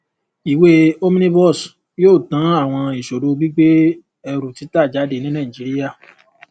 ìwé omnibus yóò tan àwọn ìṣòro gbígbé ẹrú títa jáde ní nàìjíríà